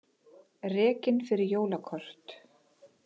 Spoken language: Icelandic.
Rekinn fyrir jólakort